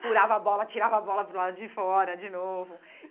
furava a bola, atirava a bola para o lado de fora de novo.